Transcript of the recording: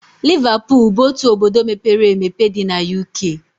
Liverpool bụ otu obodo mepere emepe dị na UK